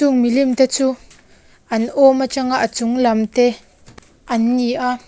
chung milim te chu an awm atang a a chung lam te an ni a.